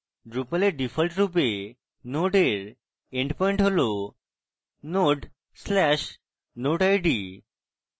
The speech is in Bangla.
drupal a ডিফল্টরূপে node এর endpoint হল node/node: id